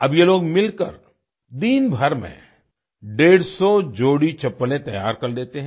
अब ये लोग मिलकर दिनभर में डेढ़सौ 150 जोड़ी चप्पलें तैयार कर लेते हैं